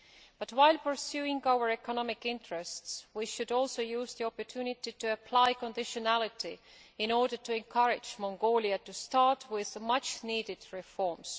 But, while pursuing our economic interests, we should also use the opportunity to apply conditionality in order to encourage Mongolia to start with much needed reforms.